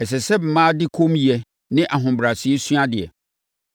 Ɛsɛ sɛ mmaa de kommyɛ ne ahobrɛaseɛ sua adeɛ.